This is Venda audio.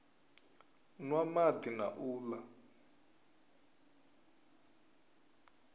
nwa madi na u la